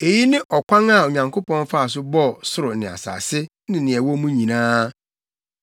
Eyi ne ɔkwan a Onyankopɔn faa so bɔɔ ɔsoro ne asase ne nea ɛwɔ mu nyinaa.